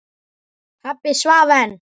Pabbi svaf enn.